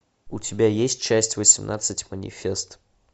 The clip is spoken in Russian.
у тебя есть часть восемнадцать манифест